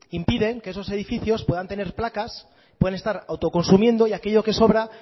impiden que esos edificios puedan tener placas puedan estar autoconsumiendo y aquello que sobra